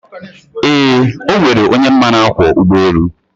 eee, ọ nwere onye m ma na-akwọ ụgbọelu.